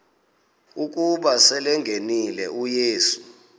ukuba selengenile uyesu